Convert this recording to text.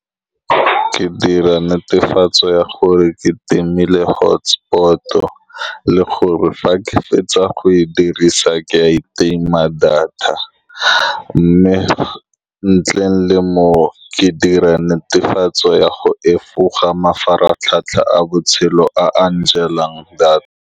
Ke dira netefatso ya gore ke timile hotspot-o, le gore fa ke fetsa go e dirisa, ke a itima data, mme ntle le moo, ke dira netefatso ya go efoga mafaratlhatlha a botshelo a a njelang data.